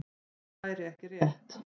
Það væri ekki rétt.